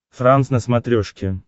франс на смотрешке